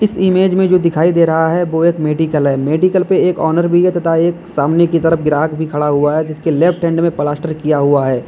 Image में जो दिखाई दे रहा है वो एक मेडिकल है मेडिकल पे एक ऑनर भी है तथा एक सामने की तरफ ग्राहक भी खड़ा हुआ है जिसके लेफ्ट हैंड में प्लास्टर किया हुआ है।